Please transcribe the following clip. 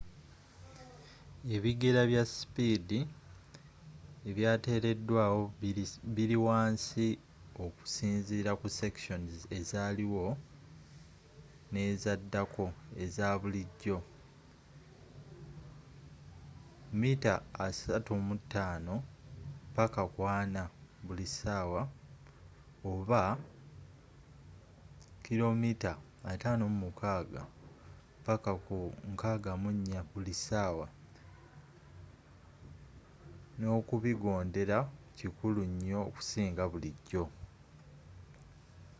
ebigera bya sipiidi ebyateredwawo biri wansi okusinzira ku sections azaaliwo n'ezaddako - eza bulijjo 35-40mph 56-64km/h - ne okubigondera kikulu nnyo okusinga bulijjo